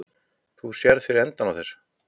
Þú sérð fyrir endanum á þessu?